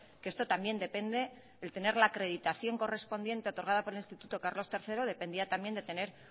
que esto también depende el tener la acreditación correspondiente otorgada por el instituto carlos tercero dependía también de tener